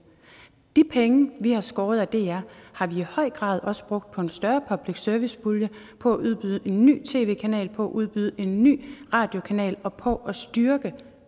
de penge vi har skåret af dr har vi i høj grad også brugt på en større public service pulje på at udbyde en ny tv kanal på at udbyde en ny radiokanal og på at styrke